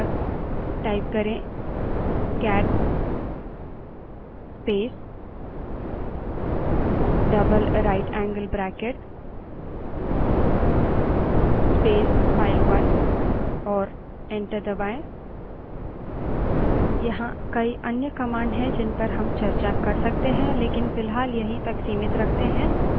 अब यदि आप पहले से मौजूद file file 1 के अंत में जोड़ना चाहते हैं तो prompt पर cat space double right angle bracket space file1 type करें और enter दबायें